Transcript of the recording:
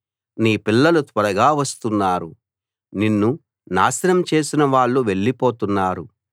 నీ పిల్లలు త్వరగా వస్తున్నారు నిన్ను నాశనం చేసినవాళ్ళు వెళ్ళిపోతున్నారు